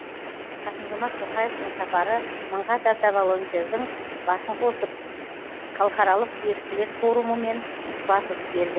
қасым жомарт тоқаевтың сапары мыңға тарта волонтердың басын қосқан халықаралық еріктілер форумымен тұспа тұс келді